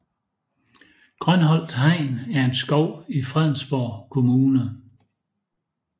Grønholt Hegn er en skov i Fredensborg Kommune